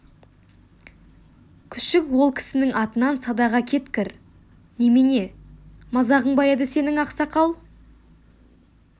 күшік ол кісінің атынан садаға кеткір немене мазағың ба еді сенің ақсақал